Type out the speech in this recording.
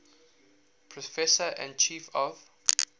professor and chief of